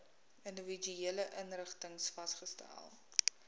individuele inrigtings vasgestel